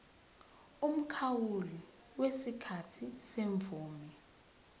umkhawulo wesikhathi semvume